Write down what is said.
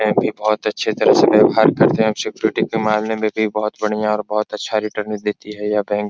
है भी बहुत अच्छी से हमसे व्यवहार करते हैं सिक्योरिटी के मामलो में भी बहुत बढ़िया और बहुत अच्छा रिटर्निंग देती है यह बैंक ।